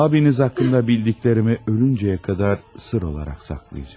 Abiniz haqqında bildiklərimi ölüncəyə qədər sirr olaraq saxlayacam.